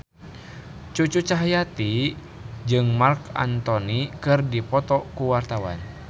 Cucu Cahyati jeung Marc Anthony keur dipoto ku wartawan